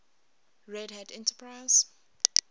red hat enterprise